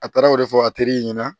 A taara o de fɔ a teri ɲɛna